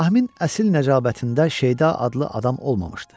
İbrahimin əsl nəcabətində Şeyda adlı adam olmamışdı.